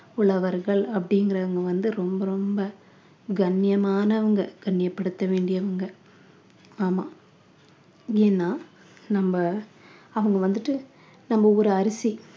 உழவர்கள் அப்படிங்கிறவங்க வந்து ரொம்ப ரொம்ப கண்ணியமானவங்க கண்ணியப்படுத்த வேண்டியவங்க ஆமாம் ஏன்னா நம்ம அவங்க வந்துட்டு நம்ம ஒரு அரிசி